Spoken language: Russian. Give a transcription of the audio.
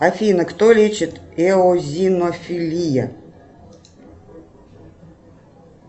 афина кто лечит эозинофилия